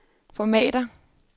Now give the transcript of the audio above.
formatér